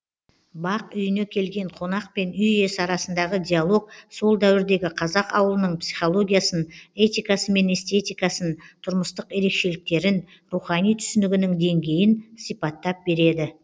бай үйіне келген қонақ пен үй иесі арасындағы диалог сол дәуірдегі қазақ аулының психологиясын этикасы мен эстетикасын тұрмыстық ерекшеліктерін рухани түсінігінің деңгейін сипаттап береді